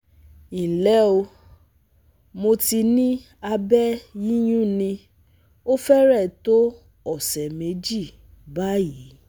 nle o, Mo ti ni abe yiyunni o fere to ọsẹ meji bayi